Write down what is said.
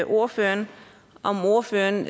ordføreren om ordføreren